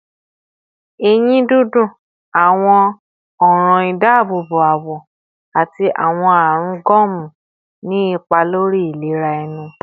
Eyin dundun, awọn ọran idaabobo awọ, ati awọn arun gomu ni ipa lori ilera ẹnu